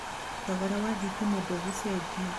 thogora wa thitima ndũgũchenjia